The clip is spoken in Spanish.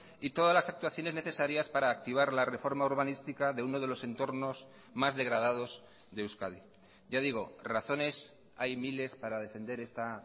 y todas las actuaciones necesarias para activar la reforma urbanística de uno de los entornos más degradados de euskadi ya digo razones hay miles para defender esta